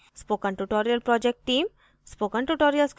spoken tutorial project team